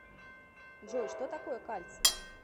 джой что такое кальций